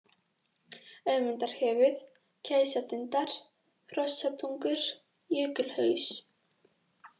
Ögmundarhöfuð, Gæsatindar, Hrossatungur, Jökulhaus